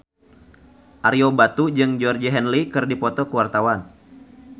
Ario Batu jeung Georgie Henley keur dipoto ku wartawan